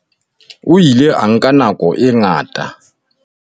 O ile a nka nako e ngata a